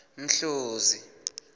mhluzi